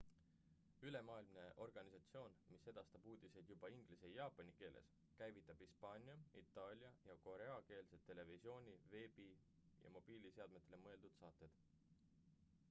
ülemaailmne organisatsioon mis edastab uudiseid juba inglise ja jaapani keeles käivitab hispaania itaalia ja koreakeelsed televisiooni- veebi- ja mobiilseadmetele mõeldud saated